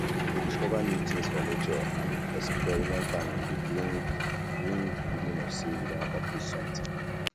to um discover new things for nature and experiment um am de bring um bring um feeling of say you don accomplish something